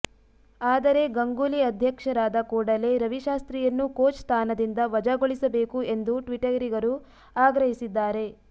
ಆದರೆ ಗಂಗೂಲಿ ಅಧ್ಯಕ್ಷರಾದ ಕೂಡಲೇ ರವಿಶಾಸ್ತ್ರಿಯನ್ನು ಕೋಚ್ ಸ್ಥಾನದಿಂದ ವಜಾಗೊಳಿಸಬೇಕು ಎಂದು ಟ್ವಿಟರಿಗರು ಆಗ್ರಹಿಸಿದ್ದಾರೆ